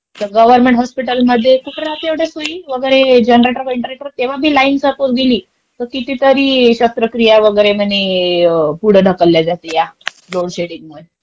तसं गव्हर्मेंट हॉस्पिटलमध्ये कुठे राहते एवढ्या सोयी वगैरे, जनरेटर-बिनरेटर. तेव्हा पण लाईन जर का गेली तर कितीतरी शस्त्रक्रिया वगैरे म्हणे पुढे ढकलल्या जाते या लोडशेडींगमुळे.